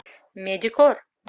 медикор